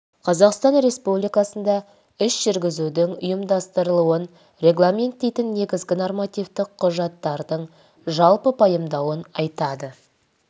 қазақстан республикасында іс жүргізудің ұйымдастырылуын регламенттейтін негізгі нормативтік құжаттардың жалпы пайымдауын айтады